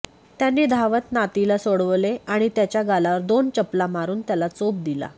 त्यांनी धावत नातीला सोडवले आणि त्याच्या गालावर दोन चप्पला मारून त्याला चोप दिला